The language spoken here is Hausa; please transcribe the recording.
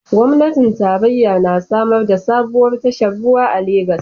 Gwamnatin tarayya na samar da sabuwar tashar ruwa a Legas